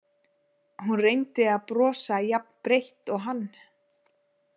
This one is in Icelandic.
Hún reyndi að brosa jafn breitt og hann.